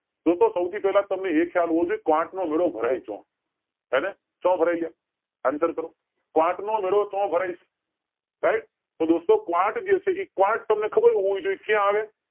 દોસ્તો સૌથી પેલા તમને એ ખ્યાલ હોવો જોઈ એ કે ક્વોટ નો મેળો ભરાય ક્યાં હેને ક્યાં ભરાય એલા answer કરો ક્વોટ નો મેળો ક્યાં ભરાય છે right તો દોસ્તો ક્વોટ જે છે એ ક્વોટ તમને ખબર છે હું હોવી જોઈએ ક્યાં આવે